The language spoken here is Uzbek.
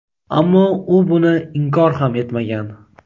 ammo u buni inkor ham etmagan.